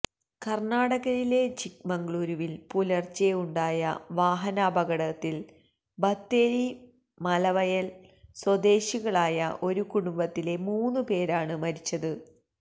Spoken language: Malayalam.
കര്ണ്ണാടകയിലെ ചിക്മംഗ്ലുരുവില് പുലര്ച്ചെ ഉണ്ടായ വാഹനാപകടത്തില് ബത്തേരി മലവയല് സ്വദേശികളായ ഒരു കുടുംബത്തിലെ മൂന്ന് പേരാണ് മരിച്ചത്